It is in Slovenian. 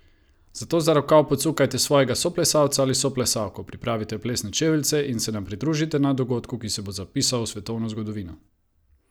Zato za rokav pocukajte svojega soplesalca ali soplesalko, pripravite plesne čeveljce in se nam pridružite na dogodku, ki se bo zapisal v svetovno zgodovino!